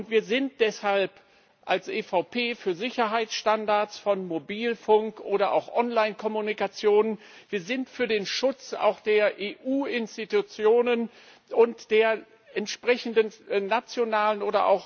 Wir sind deshalb als EVP Fraktion für Sicherheitsstandards von Mobilfunk oder auch Online Kommunikation, wir sind für den Schutz der EU Institutionen und der entsprechenden nationalen bzw.